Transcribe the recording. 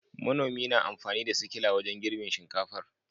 Manomin na amfani da sikila wajen girbin shinkafar